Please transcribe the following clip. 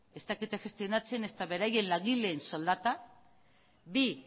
ez dakite gestionatzen ezta beraien langileen soldata bi